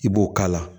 I b'o k'a la